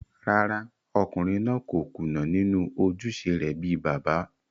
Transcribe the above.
Rárá, ọkùnrin náà kò kùnà nínú ojúṣe rẹ̀ bíi bàbá